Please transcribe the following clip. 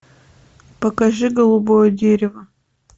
покажи голубое дерево